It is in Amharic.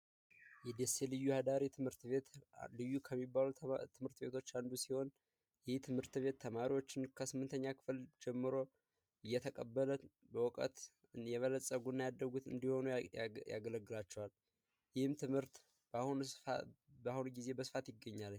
የደሴ አዳሪ ትምህርት ቤት ልዩ ከሚባሉ ትምህርት ቤቶች አንዱ ሲሆን ይህ ትምህርት ቤት ተማሪዎችን ከስምንተኛ ክፍል ጀምሮ እየተቀበለ በእውቀት የበለጸጉ እና ያደጉ እንዲሆኑ ያገለግላቸዋል። ይህም ትምህርት በአሁኑ ጊዜ በስፋት ይገኛል።